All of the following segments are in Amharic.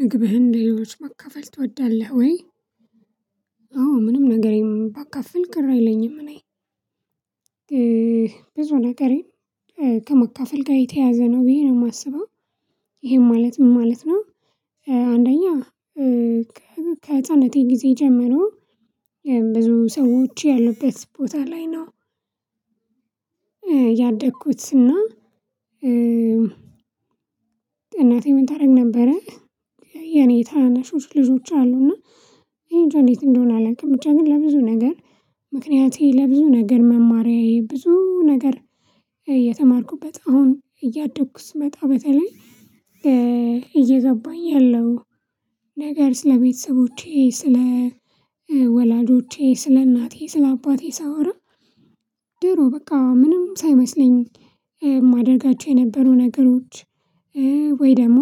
ምግብህን ሌሎች ማካፈል ትወዳለህ ወይ? አዎ ምንም ነገር የለም ባካፍል ቅር አይለኝም። እኔ ብዙ ነገሬ ከመካፈል ጋር የተያዘ ነው ብዬ ነው የማስበው ይሄን ማለት ምን ማለት ነው? አንደኛ ከህፃንነቴ ጊዜ ጀመረው ብዙ ሰዎች ያሉበት ቦታ ላይ ነው። ያደግኩትና እናቴ ምን ታደርግ ነበረ። የኔ ታነሾች ልጆች አሉ እና እኔ እንደዚህ እንደሆነ አላውቅም ብቻ ግን ለብዙ ነገር ለብዙ ነገር መማሪያዬ ብዙ ነገር የተማርኩበት አሁን እያደግኩት ስመጣ በተለይ እየገባኝ ያለው ነገር ስለቤተሰቦቼ ስለ ወላጆቼ ስለ እናቴ ስለ አባቴ ሳወራ ድሮ በቃ ምንም ሳይመስለኝ የማደርጋቸው የነበሩ ነገሮች ወይ ደግሞ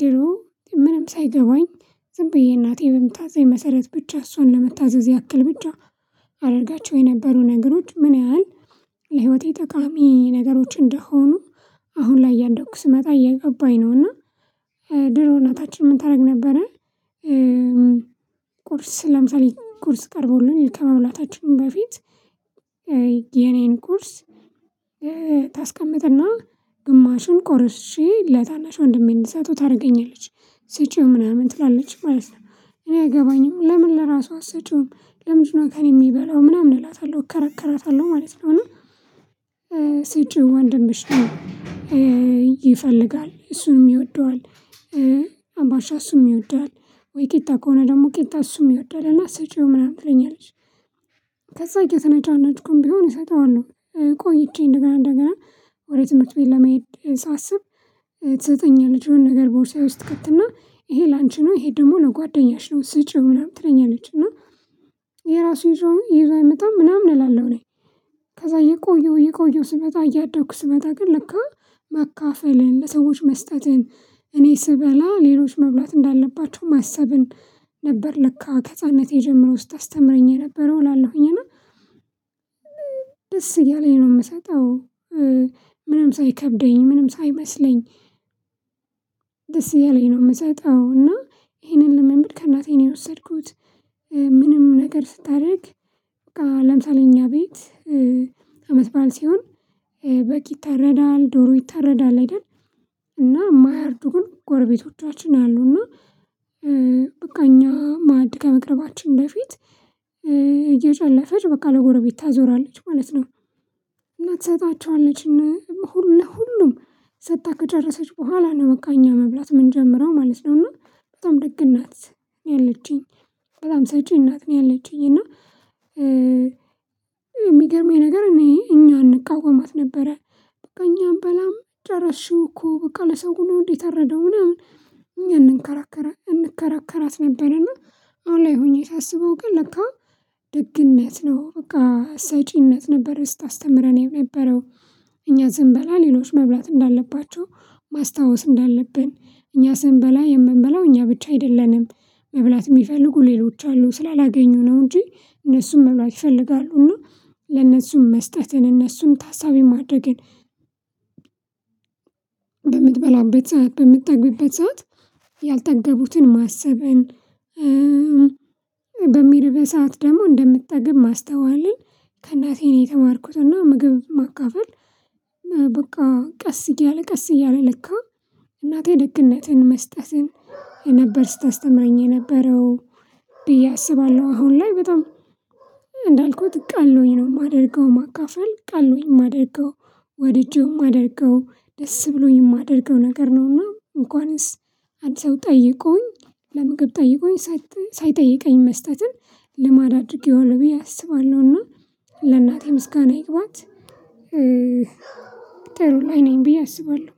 ድሮ ምንም ሳይገባኝ ዝም ብዬ እናቴ በምታዝዘኝ መሰረት ብቻ እሷን ለመታዘዝ ያክል ብቻ አደረጋቸው የነበሩ ነገሮች ምን ያህል ለህይወቴ ጠቃሚ ነገሮች እንደሆኑ አሁን ላይ እያደኩ ስመጣ እያገባኝ ነው። እና ድሮ እና ታች ምን ታደርግ ነበረ። ቁርስ ለምሳሌ ቁርስ ቀርቦልን ከመሙላታችን በፊት የኔን ቁርስ ታስቀምጥና ግማሹን ቆርሼ ለታናሽ ወንድሜ እንሰጠው ታደርገኛለች ስጪው ምናምን ትላለች ማለት ነው እኔ አገባኝም ለምን ለራሷ አሰጪውም ለምንድነው ከእኔ የሚበላው ምናምን እላታለሁ እከረከራታለሁ ማለት ነው። እና ስጭው ወንድምሽ ነው ይፈልጋል እሱንም ይወደዋል። አባሻ እሱንም ይወደዋል ወይ ቂጣ ከሆነ ደግሞ ቂጣ እሱንም ይወዳል እና ሰጪው ምናምን ትለኛለች። ከዛ እየተነጫነጭኩኝ ቢሆን እሰጠዋለሁ። ቆይቼ እንደገና እንደገና ወደ ትምህርት ትቤ ለመሄድ ሳስብ ትሰጠኛለች የሆነ ነገር ቦርሳዬ ውስጥ ትከትና ይሄ ላንቺ ነው ይሄ ደግሞ ለጓደኛሽ ነው ስጪው ምናምን ትለኛለች። እና የራሱን ጆሮ ይዞ አይመጣም ምናምን እላለሁ እኔ ከዛ እየቆየሁ እየቆየሁ ስመጣ እያደግኩ ስመጣ ግን ለካ ማካፈልን ለሰዎች መስጠትን እኔ ስበላ ሌሎች መብላት እንዳለባቸው ማሰብን ነበር ለካ ከህፃንነት የጀመረው ስታስተምረኝ የነበረው እላለሁኝ እና ደስ እያለኝ ነው። የምሰጠው ምንም ሳይከብደኝ ምንም ሳይመስለኝ ደስ እያለኝ ነው የምሰጠው እና ይሄንን ልምምድ ከእናቴ ነው የወሰድኩት። ምንም ነገር ስታደርግ በቃ እኛ ቤት አመት በዓል ሲሆን በግ ይታረዳል ዶሮ ይታረዳል አይደል እና የማያርዱን ጎረቤቶቻችን አሉና በቃ እኛ ማዕድ ከመቅረባችን በፊት እየጨለፈች በቃ ለጎረቤት ታዞራለች ማለት ነው። ትሰጣቸዋለች እና ሁሉ ለሁሉም ሰጥታ ከጨረሰች በኋላ ነው መቃ እኛ መብላት የምንጀምረው ማለት ነው። እና በጣም ደግ እናት ያለችኝ በጣም ሰጪ እናት ነው። ያለችኝ እና የሚገርመኝ ነገር እኔ እኛን እንቃወማት ነበረ በቃ እኛም በላም ጨረሽኝ እኮ በቃ ለሰው ነው እንዴት አረደው ምናምን? እኛ እንከራከራት ነበርና አሁን ላይ ሁኜ ሳስበው ግን ለካ ደግነት ነው በቃ አሳጪነት ነበር ስታስተምረኝ የነበረው። እኛ ስንበላ ሌሎች መብላት እንዳለባቸው ማስታወስ እንዳለብን እኛ ስንበላ የምንበላው እኛ ብቻ አይደለንም መብላት የሚፈልጉ ሌሎች አሉ ስላላገኙ ነው እንጂ እነሱም መብላት ይፈልጋሉ እና ለእነሱም መስጠትን እነሱም ታሳቢ ማድረግን ሰዓት በምትጠግብበት ሰዓት ያልጠገቡትን ማሰብን ሰዓት ደግሞ እንደምትጠግብ ማስተዋልን ከእናቴ ነው የተማርኩትና። ምግብ ማካፈል በቃ ቀስ እያለ ቀስ እያለ ለካ እናቴ ደግነትን መስጠትን ነበር ስታስተምረኝ የነበረው። ብዬ አስባለሁ አሁን ላይ በጣም እንዳልኩት ቃል ነው የማደርገው ማካፈል ቃል ነው የማደርገው ወድጄውም አደርገው ደስ ብሎኝ የማደርገው ነገር ነውና እንኳንስ አዲስ አበባ ጠይቆኝ ለምግብ ጠይቆኝ ሳይጠይቀኝ መስጠትን ልማድ አድርጌ ሆኖ ብዬ አስባለሁና ለእናቴ ምስጋና ይግባት። ተርው ላይ ነኝ ብዬ አስባለሁ